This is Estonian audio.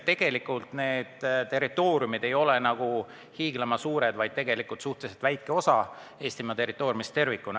Tegelikult need territooriumid ei ole hiiglama suured, tegu on suhteliselt väikese osaga Eestimaa territooriumist.